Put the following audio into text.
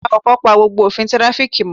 Awakọ̀ pa gbogbo òfin tirafiki mo